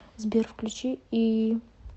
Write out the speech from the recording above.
сбер включи иии